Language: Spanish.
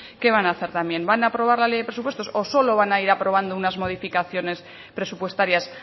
qué van hacer también van a aprobar la ley de presupuestos o solo van a ir aprobando unas modificaciones presupuestarias